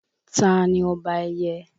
Tani ọba ẹyẹ?